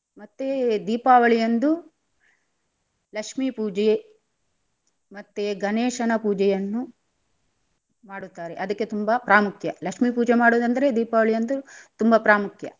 ಮತ್ತೆ ದೀಪಾವಳಿಯಂದು ಲಕ್ಷೀ ಪೂಜೆ ಮತ್ತೆ ಗಣೇಶನ ಪೂಜೆಯನ್ನು ಮಾಡುತ್ತಾರೆ ಅದಕ್ಕೆ ತುಂಬ ಪ್ರಾಮುಖ್ಯ. ಲಕ್ಷೀ ಪೂಜೆ ಮಾಡುದಂದ್ರೆ ದೀಪಾವಳಿಯಂದು ತುಂಬ ಪ್ರಾಮುಖ್ಯ.